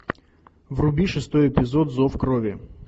вруби шестой эпизод зов крови